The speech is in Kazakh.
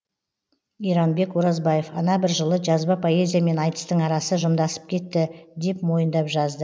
иранбек оразбаев ана бір жылы жазба поэзия мен айтыстың арасы жымдасып кетті деп мойындап жазды